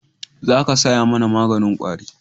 Za ka saya mana maganin kwari